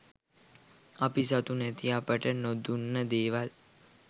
අපි සතු නැති අපට නොදුන්න දේවල්